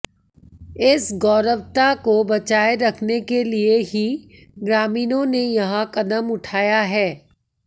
इस गौरवता को बचाए रखने के लिए ही ग्रामीणों ने यह कदम उठाया है